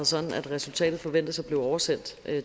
sådan at resultatet forventes at blive oversendt